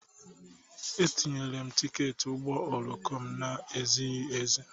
Etinyere m tiketi ụgbọ oloko m na-ezighi ezi.